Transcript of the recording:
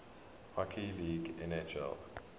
hockey league nhl